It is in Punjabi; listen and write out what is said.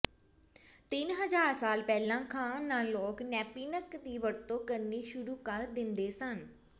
ਤਿੰਨ ਹਜ਼ਾਰ ਸਾਲ ਪਹਿਲਾਂ ਖਾਣ ਨਾਲ ਲੋਕ ਨੈਪਿਨਕ ਦੀ ਵਰਤੋਂ ਕਰਨੀ ਸ਼ੁਰੂ ਕਰ ਦਿੰਦੇ ਸਨ